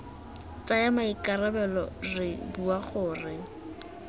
tsaya maikarabelo re bua gore